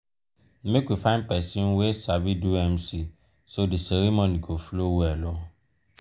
make we find pesin wey sabi do mc so di ceremony go flow well.